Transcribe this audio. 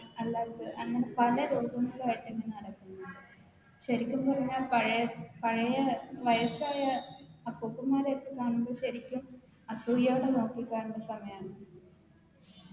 അല്ലാതെ അങ്ങനെ പല രോഗങ്ങളു ആയിട്ട് ഇങ്ങനെ നടക്കും ശെരിക്കും പറഞ്ഞ പഴ പഴയ വയസ്സായ അപ്പുപ്പന്മ്മാരേ ഒക്കെ കാണുമ്പോ ശെരിക്കും അസൂയയോടെ നോക്കി കാണുന്ന സമയാന്ന്